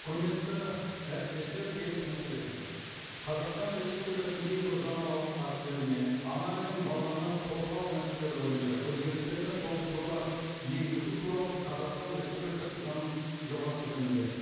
құрметті әріптестер келесі мәселе қазақстан республикасының кейбір заңнамалық актілеріне ана мен баланы қорғау мәселелері бойынша өзгерістер мен толықтырулар енгізу туралы қазақстан республикасы заңының жобасы жөнінде